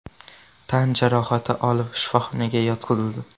tan jarohati olib, shifoxonaga yotqizildi.